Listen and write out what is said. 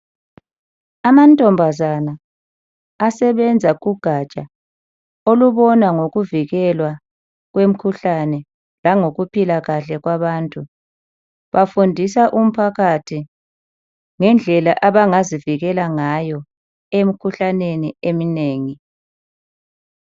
Amantombazana asebenza kugatsha olubona ngokuvikelwa kwemikhuhlane langokuphila kahle kwabantu. Bafundisa umphakathi ngendlela abangazivikela ngayo emkhuhlaneni eminengi.